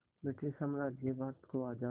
British साम्राज्य भारत को आज़ाद